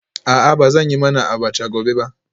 A'a ba zan yi mana abacha gobe ba